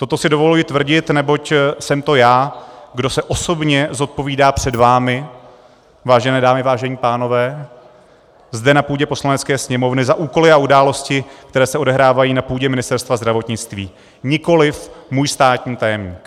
Toto si dovolují tvrdit, neboť jsem to já, kdo se osobně zodpovídá před vámi, vážené dámy, vážení pánové, zde na půdě Poslanecké sněmovny za úkoly a události, které se odehrávají na půdě Ministerstva zdravotnictví, nikoliv můj státní tajemník.